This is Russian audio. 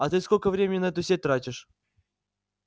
а ты сколько времени на эту сеть тратишь